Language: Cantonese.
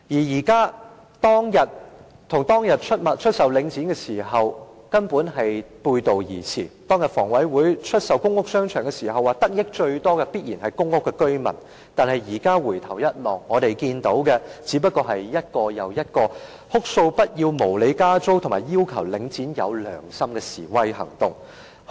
現在的情況與當日出售領匯的原意背道而馳，當日房委會出售公屋商場時表示，得益最多的必然是公屋居民，但現在回首，我們看見的是一個又一個哭訴不要無理加租，以及要求領展要有良心的示威行動。